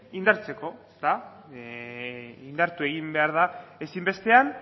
indartzeko da indartu egin behar da ezinbestean